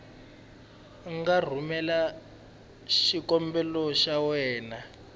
nga rhumelela xikombelo xa wena